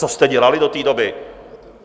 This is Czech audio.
Co jste dělali do té doby?